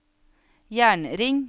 jernring